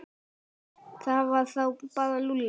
Það var þá bara Lúlli.